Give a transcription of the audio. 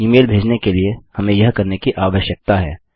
इ मेल भेजने के लिए हमें यह करने की आवश्यकता है